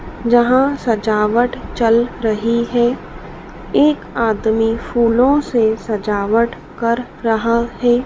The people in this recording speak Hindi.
जहां सजावट चल रही है। एक आदमी फूलों से सजावट कर रहा है।